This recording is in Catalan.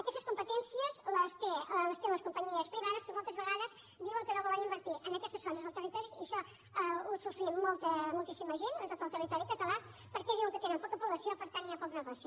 aquestes competències les tenen les companyies privades que moltes vegades diuen que no volen invertir en aquestes zones del territori i això ho sofrim molta moltíssima gent en tot el territori català perquè diuen que tenen poca població i per tant hi ha poc negoci